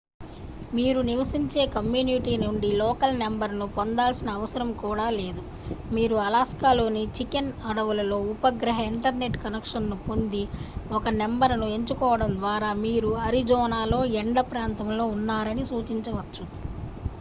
మీరు నివసించే కమ్యూనిటీ నుండి లోకల్ నంబర్ను పొందాల్సిన అవసరం కూడా లేదు మీరు అలస్కాలోని చికెన్ అడవులలో ఉపగ్రహ ఇంటర్నెట్ కనెక్షన్ను పొంది ఒక నంబర్ను ఎంచుకోవడం ద్వారా మీరు అరిజోనాలో ఎండ ప్రాంతంలో ఉన్నారని చూపించవచ్చు